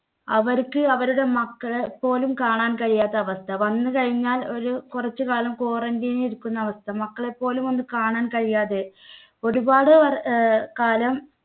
അവർക്ക് അവരുടെ മക്കളെ പോലും കാണാൻ കഴിയാത്ത അവസ്ഥ. വന്ന് കഴിഞ്ഞാൽ ഒരു കുറച്ചുകാലം quarantine ഇരിക്കുന്ന അവസ്ഥ. മക്കളെ പോലും ഒന്നും കാണാൻ കഴിയാതെ ഒരുപാട് അഹ് കാലം